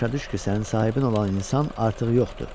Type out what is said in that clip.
Başa düş ki, sənin sahibin olan insan artıq yoxdur.